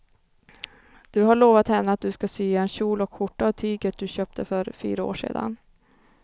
Du har lovat henne att du ska sy en kjol och skjorta av tyget du köpte för fyra år sedan.